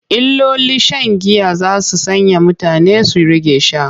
Illolin shan giya za su sanya mutane su rage sha.